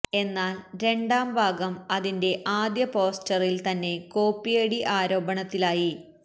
എന്നാല് രണ്ടാം ഭാഗം അതിന്റെ ആദ്യ പോസ്റ്ററില് തന്നെ കോപ്പിയടി ആരോപണത്തിലായി